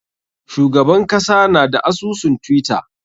Shugaban kasa na da asusun twitter.